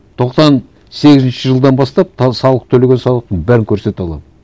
тоқсан сегізінші жылдан бастап салық төлеген салықтың бәрін көрсете аламын